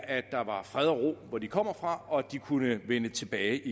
at der var fred og ro hvor de kommer fra og at de kunne vende tilbage